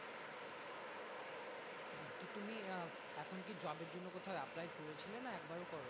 তো তুমি আহ এখন কি job এর জন্য কোথাও apply করেছিলে না একবার করোনি?